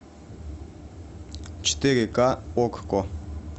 четыре ка окко